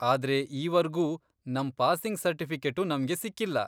ಆದ್ರೆ ಈವರ್ಗೂ ನಮ್ ಪಾಸಿಂಗ್ ಸರ್ಟಿಫಿಕೇಟು ನಮ್ಗೆ ಸಿಕ್ಕಿಲ್ಲ.